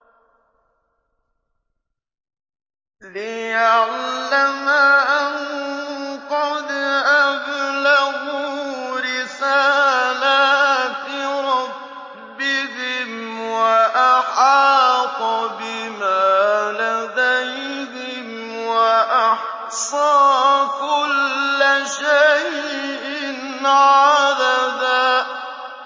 لِّيَعْلَمَ أَن قَدْ أَبْلَغُوا رِسَالَاتِ رَبِّهِمْ وَأَحَاطَ بِمَا لَدَيْهِمْ وَأَحْصَىٰ كُلَّ شَيْءٍ عَدَدًا